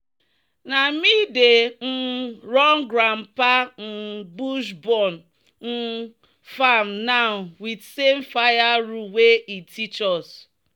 "na me dey um run grandpa um bush-burn um farm now with same fire rule wey e teach us."